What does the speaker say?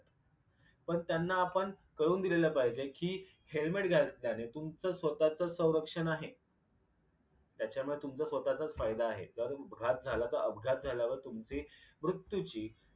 पण त्यांना आपण कळवून दिलेले पाहिजे कि helmet घातल्याने तुमच स्वतःच संरक्षण आहे. त्याच्यामुळे तुमचा स्वतःचाच फायदा आहे कारण घात झाला तर अपघात झाल्यावर तुमची मृत्यूची